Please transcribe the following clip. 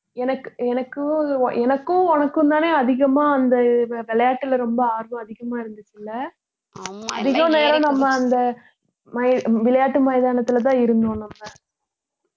எனக்கு எனக்கும் எனக்கும் உனக்கும் தானே அதிகமா அந்த வி~ விளையாட்டுல ரொம்ப ஆர்வம் அதிகமா இருந்துச்சு இல்ல அதிக நேரம் நம்ம அந்த மை~ விளையாட்டு மைதானத்துல தான் இருந்தோம் நம்ம